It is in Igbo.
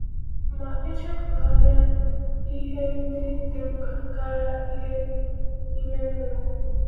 Ma, echefughịla “ihe ndị dị mkpa karịa—ihe ime mmụọ.